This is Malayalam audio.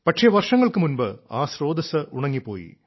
പക്ഷേ വർഷങ്ങൾക്കു മുൻപ് ആ സ്രോതസ്സ് ഉണങ്ങിപ്പോയി